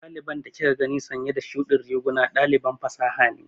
Ɗaliban da kika gani sanye da shuɗin riguna ɗaliban fasaha ne.